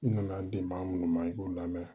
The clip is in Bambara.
I nana den maa minnu ma i y'u lamɛn